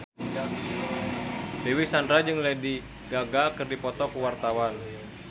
Dewi Sandra jeung Lady Gaga keur dipoto ku wartawan